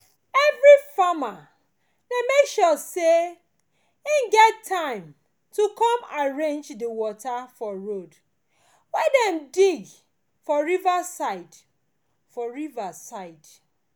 every farmer dey make sure say e get time to come arrange di water for road wey dem dig for river side for river side